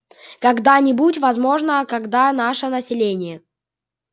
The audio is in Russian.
когда-нибудь возможно когда наше население